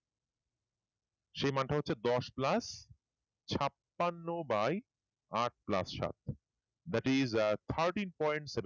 সেই মান টা হচ্ছে দশ plus ছাপ্পান্ন by আট plus সাত ব্যাটারি যার thirteen point seven